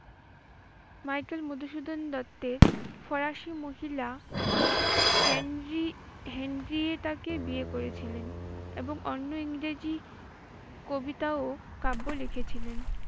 Michael Madhusudan দত্তের ফরাসি মহিলা হেনরি হেনরিয়েটাকে বিয়ে করেছিলেন এবং অন্য ইংরেজি কবিতা ও কাব্য লিখেছিলেন।